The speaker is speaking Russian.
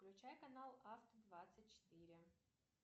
включай канал авто двадцать четыре